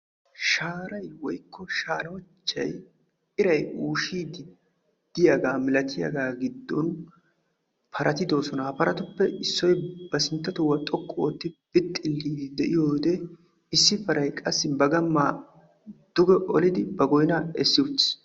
Shaharara iray bukkiyaga giddon paray dees. Issi paray ba gamma duge olliddi goynna yeddi uttiis.